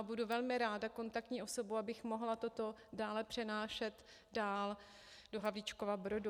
A budu velmi ráda kontaktní osobou, abych mohla toto dále přenášet dál do Havlíčkova Brodu.